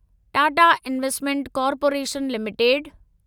Tata investment corporation limited